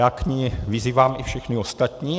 Já k ní vyzývám i všechny ostatní.